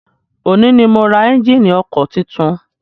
Òní ni mo ra ẹ́njíìnì ọkọ̀ titun.